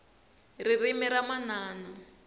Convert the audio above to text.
ririmi ra manana